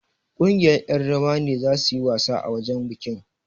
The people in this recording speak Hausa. Ƙungiyar ƴan rawar ne zasu yi wasa a wajen bikin.